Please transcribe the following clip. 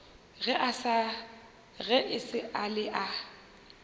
ge e sa le a